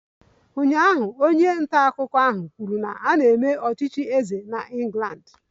Ụnyaahụ, onye nta akụkọ ahụ kwuru na a na-eme ọchịchị eze na England